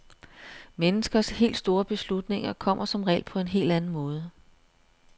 Menneskers helt store beslutninger kommer som regel på en helt anden måde.